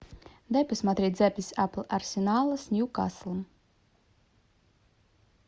дай посмотреть запись апл арсенала с ньюкаслом